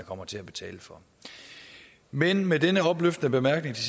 kommer til at betale for men med denne opløftende bemærkning til